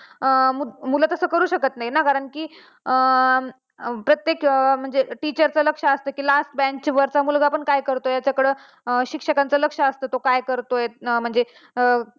मुलं तस करू शकत नाही ना जर, कारण की प्रत्येक म्हणजे teacher च कस असता की last bench वरचा मुलगा पण काय करतोय यांच्याकडे शिक्षकांचं लक्ष असत, तो काय करतोय म्हणजे